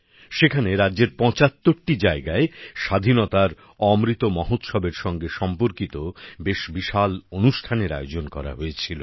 সেখানে রাজ্যের ৭৫টি জায়গায় স্বাধীনতার অমৃত মহোৎসবের সঙ্গে সম্পর্কিত বেশ বিশাল অনুষ্ঠানের আয়োজন করা হয়েছিল